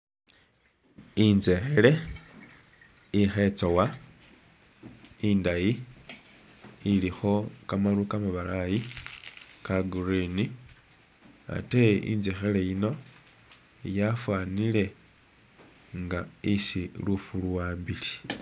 Inzekhele ikhe'tsowa indayi ilikho kamaru kamabalayi ka green ,ate inzekhele yino yafwanile nga isi lufu luwambile